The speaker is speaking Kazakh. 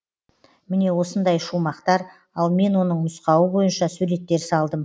міне осындай шумақтар ал мен оның нұсқауы бойынша суреттер салдым